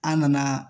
An nana